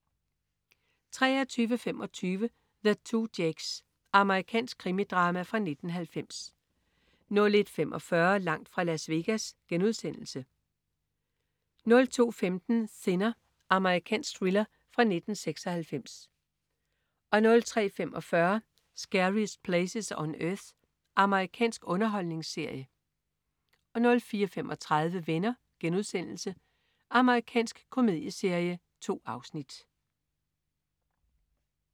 23.25 The Two Jakes. Amerikansk krimidrama fra 1990 01.45 Langt fra Las Vegas* 02.15 Thinner. Amerikansk thriller fra 1996 03.45 Scariest Places on Earth. Amerikansk underholdningsserie 04.35 Venner.* Amerikansk komedieserie. 2 afsnit